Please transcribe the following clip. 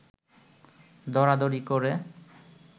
দরাদরি করে